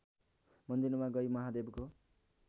मन्दिरमा गई महादेवको